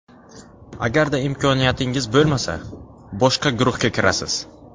Agarda imkoniyatingiz bo‘lmasa, boshqa guruhga kirasiz.